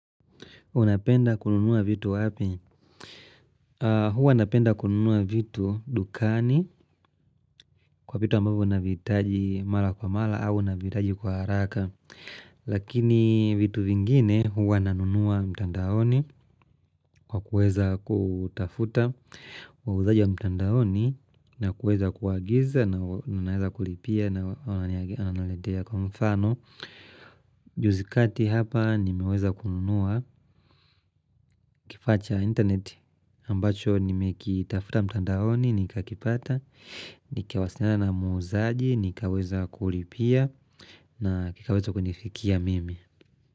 Unapenda kununua vitu wapi? Hua napenda kununua vitu dukani kwa vitu ambavyo naviitaji mala kwa mala au naviitaji kwa haraka. Lakini vitu vingine hua nanunua mtandaoni kwa kuweza kutafuta. Wauzaji wa mtandaoni na kuweza kuwagiza na naweza kulipia na wanaletea kwa mfano. Juzikati hapa nimeweza kununua kifaa cha internet ambacho nime kitafuta mtandaoni nikakipata Nikawasiliana na muzaji nikaweza kulipia na kikaweza kunifikia mimi.